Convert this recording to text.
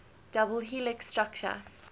double helix structure